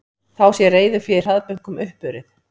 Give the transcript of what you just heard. Þá sé reiðufé í hraðbönkum uppurið